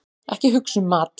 Ekki hugsa um mat!